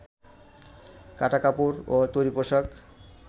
কাটা কাপড় ও তৈরি পোশাক